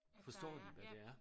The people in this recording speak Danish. Forstår de hvad det er